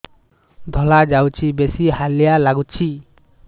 ଧଳା ଯାଉଛି ବେଶି ହାଲିଆ ଲାଗୁଚି